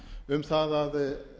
um það að